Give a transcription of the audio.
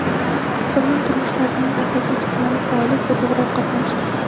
sog‘lom turmush tarzining asosi — jismoniy faollik va to‘g‘ri ovqatlanishdir.